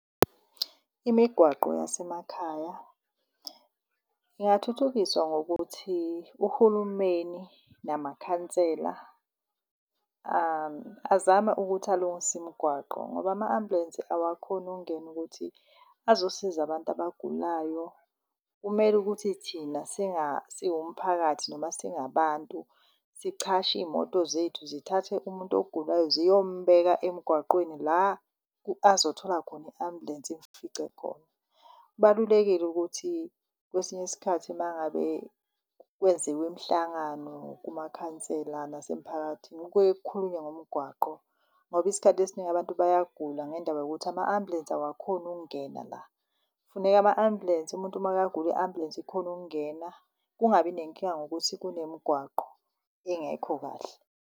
Imigwaqo yasemakhaya ingathuthukiswa ngokuthi uhulumeni namakhansela, azame ukuthi alungise imigwaqo ngoba ama-ambulansi awakhoni ukungena ukuthi azosiza abantu abagulayo. Kumele ukuthi thina siwumphakathi, noma singabantu sichashe iy'moto zethu zithathe umuntu ogulayo ziyombheka emgwaqweni la azothola khona i-ambulensi, imfice khona. Kubalulekile ukuthi kwesinye isikhathi mangabe kwenziwe imihlangano kumakhansela nasemphakathini kuke khulunywe ngomgwaqo. Ngoba isikhathi esiningi abantu bayagula ngendaba yokuthi ama-ambulensi awukhoni ukungena la. Kufuneka ama-ambhulensi umuntu makagagula i-ambulansi ikhone ukungena, kungabi nenkinga yokuthi kunemgwaqo engekho kahle.